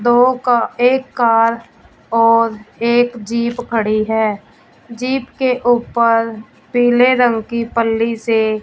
दो का एक कार और एक जीप खड़ी है जीप के ऊपर पीले रंग की पल्ली से--